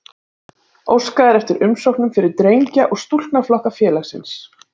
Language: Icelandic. Óskað er eftir umsóknum fyrir drengja- og stúlknaflokka félagsins.